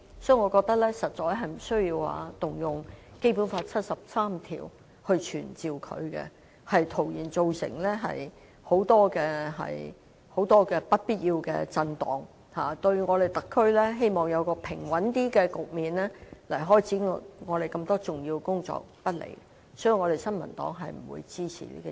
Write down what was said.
因此，我認為實在無需援引《基本法》第七十三條傳召她前來立法會，這只會造成很多不必要的震盪，並對特區期望有較平穩的局面開展多項重要工作不利，所以新民黨並不支持這項議案。